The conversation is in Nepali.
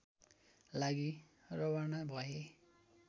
लागि रवाना भए